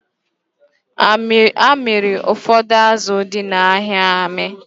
A mịrị ụfọdụ azụ dị n'ahịa amị